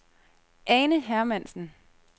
Ane Hermansen